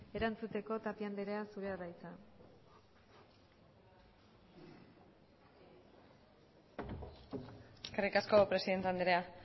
erantzuteko tapia andrea zurea da hitza eskerrik asko presidente andrea